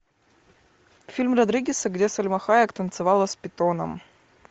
фильм родригеса где сальма хайек танцевала с питоном